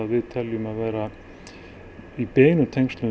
við teljum í beinu